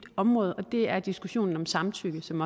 område og det er diskussionen om samtykke som